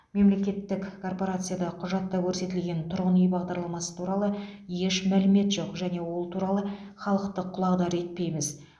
мемлекеттік корпорацияда құжатта көрсетілген тұрғын үй бағдарламасы туралы еш мәлімет жоқ және ол туралы халықты құлағдар етпейміз